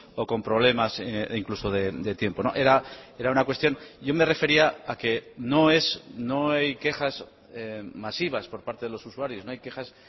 o con problemas incluso de tiempo era una cuestión yo me refería a que no es no hay quejas masivas por parte de los usuarios no hay quejas